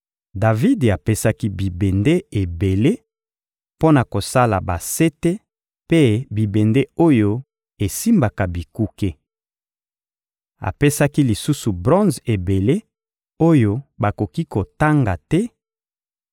Davidi apesaki bibende ebele mpo na kosala basete mpe bibende oyo esimbaka bikuke. Apesaki lisusu bronze ebele oyo bakoki kotanga te,